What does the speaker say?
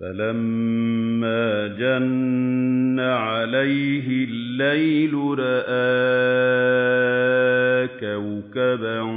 فَلَمَّا جَنَّ عَلَيْهِ اللَّيْلُ رَأَىٰ كَوْكَبًا ۖ